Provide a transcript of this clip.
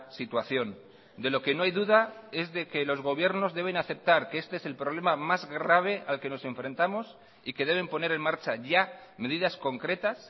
situación de lo que no hay duda es de que los gobiernos deben aceptar que este es el problema más grave al que nos enfrentamos y que deben poner en marcha ya medidas concretas